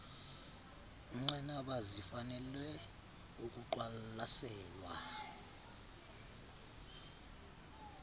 nqanaba zifanele ukuqwalaselwa